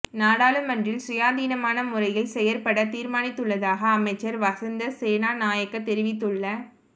நாடாளுமன்றில் சுயாதீனமான முறையில் செயற்பட தீர்மானித்துள்ளதாக அமைச்சர் வசந்த சேனாநாயக்க தெரிவித்துள்ள